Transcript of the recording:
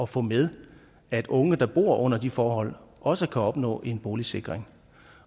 få med at unge der bor under de forhold også kan opnå en boligsikring